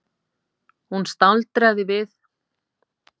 Hún staldraði við áður en hún fór inn og horfði niður mannauða götuna.